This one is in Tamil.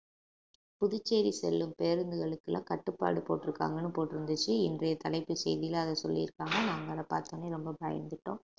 புதுச்சேரி செல்லும் பேருந்துகளுக்கெல்லாம் கட்டுப்பாடு போட்டுருக்காங்கன்னு போட்டிருந்துச்சு இன்றைய தலைப்பு செய்தியில அத சொல்லி இருக்காங்க நாங்க அத பார்த்த உடனே ரொம்ப பயந்துட்டோம்